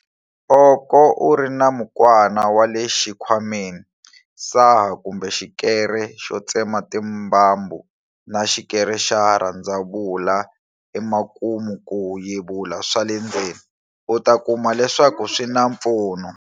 Oko u ri na mukwana wa le xikhwameni, saha kumbe xikere xo tsema timbambu, na xikere xa rhandzavula emakumu ku yevula swa le ndzeni, u ta kuma leswaku swi na mpfuno.